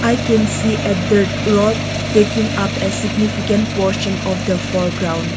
I can see a dirt rock taking up a significant portion of the foreground.